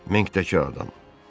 Minkdəki adam!